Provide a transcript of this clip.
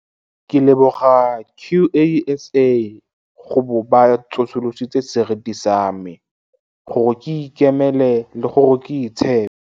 "Ke leboga QASA gobo ba tsosolositse seriti sa me, gore ke ikemele le gore ke itshepe."